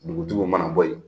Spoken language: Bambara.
Dugutigiw mana bɔ yen